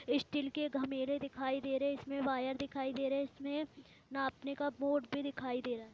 Steel के घमेरे दिखाई दे रहे। इसमें वायर दिखाई दे रहे। इसमें नापने का बोर्ड भी दिखाई दे रहा।